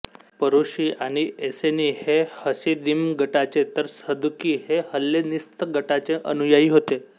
परुशी आणि एसेनी हे हसिदिम गटाचे तर सदुकी हे हेल्लेणीस्त गटाचे अनुयायी होते